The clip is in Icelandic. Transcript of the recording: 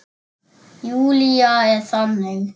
Júlía er þannig.